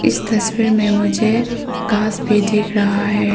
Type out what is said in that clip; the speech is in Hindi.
इस तस्वीर में मुझे घास भी दिख रहा है।